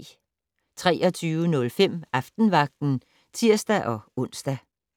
23:05: Aftenvagten (tir-ons)